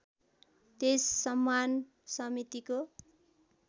त्यस सम्मान समितिको